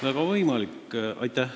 Väga võimalik.